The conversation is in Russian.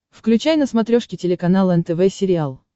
включай на смотрешке телеканал нтв сериал